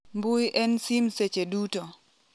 mbui ne sim seche duto